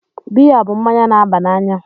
Biya bụ mmanya na-aba n'anya.